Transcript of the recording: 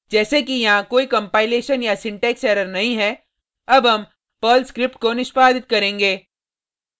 जैसे कि यहाँ कोई कंपाइलेशन या सिंटेक्स एरर नहीं है अब हम पर्ल स्क्रिप्ट को निष्पादित करेंगे